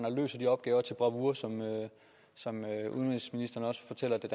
bravour som udenrigsministeren også fortæller det